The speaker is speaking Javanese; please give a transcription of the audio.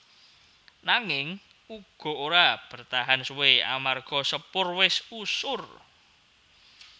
Nanging uga ora bertahan suwé amarga Sepur wis usur